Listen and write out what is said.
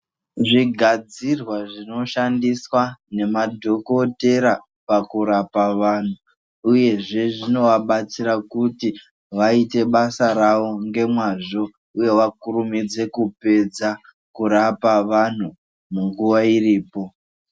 Zvigadzirwa zvinoshandiswa nemadhokodhera pakurapa vanhu ,uyezve zvinovabatsira kuti vayite basa ravo ngemwazvo uye vakurumidze kupedza kurapa vanhu, munguva iripo.